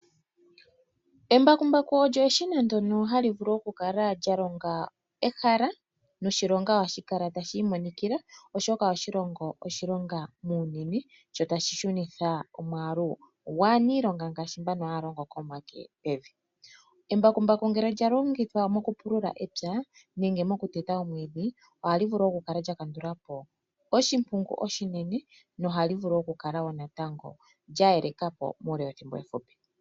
Embakumbaku olyo eshina ndyono hali vulu okukala lya longa ehala noshilonga ohashi kala tashi imonikila, oshoka ohali longo oshilonga muunene lyo tali shunitha omwaalu gwaaniilonga ngaashi mboka haya longo komake pevi. Embakumbaku ngele lya longithwa mokupulula epya nenge mokuteta omwiidhi ohali vulu oku kala lya kandula po oshimpungu oshinene nohali vulu oku kala wo natango lya yeleka po muule wethimbo efupi.